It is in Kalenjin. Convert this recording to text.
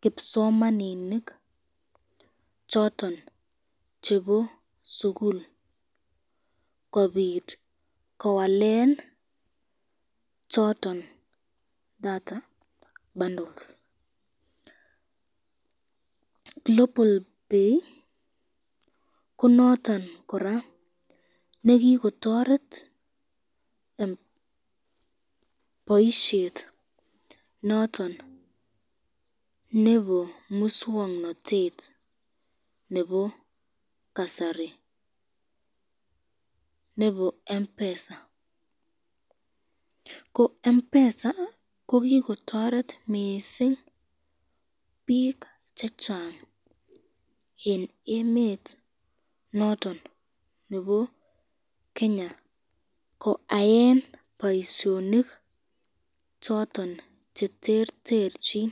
kipsomanikik choton chebo sukul kobit kowalen data bundles , global pay ko noton koraa nekikotoret , boisyet noton nebo muswoknotet noton nebo kasari nebo mpesa ,ko mpesa ko kikotoret kot mising bik chechang eng emet noton nebo Kenya ,koaen boisyonik choton cheterterchin.